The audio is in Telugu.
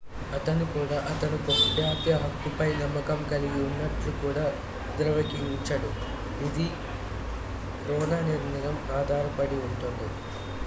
అతను కూడా అతను గోప్యతా హక్కుపై నమ్మకం కలిగి ఉన్నట్లు కూడా ధ్రువీకరించాడు ఇది రో నిర్ణయం ఆధారపడి ఉంటుంది